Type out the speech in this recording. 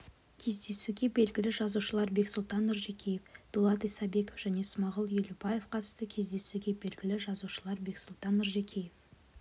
кездесуге белгілі жазушылар бексұлтан нұржекеев дулат исабеков және смағұл елубаев қатысты кездесуге белгілі жазушылар бексұлтан нұржекеев